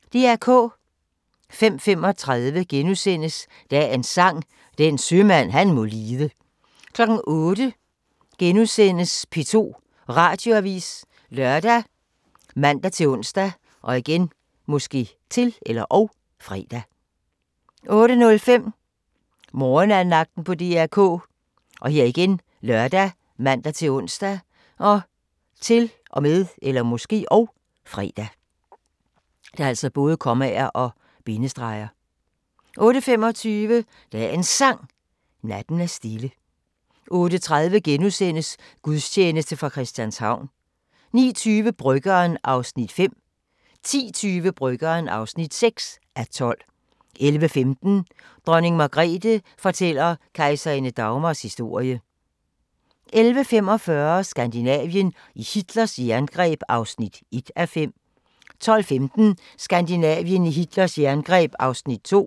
05:35: Dagens Sang: Den sømand han må lide * 08:00: P2 Radioavis *( lør, man-ons, -fre) 08:05: Morgenandagten på DR K ( lør, man-ons, -fre) 08:25: Dagens Sang: Natten er stille 08:30: Gudstjeneste fra Christianshavn * 09:20: Bryggeren (5:12) 10:20: Bryggeren (6:12) 11:15: Dronning Margrethe fortæller kejserinde Dagmars historie 11:45: Skandinavien i Hitlers jerngreb (1:5) 12:15: Skandinavien i Hitlers jerngreb (2:5)